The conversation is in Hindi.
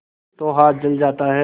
तो हाथ जल जाता है